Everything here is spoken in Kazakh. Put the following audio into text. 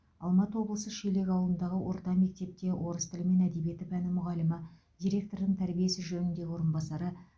алматы облысы шелек ауылындағы орта мектепте орыс тілі мен әдебиеті пәні мұғалімі директордың тәрбие ісі жөніндегі орынбасары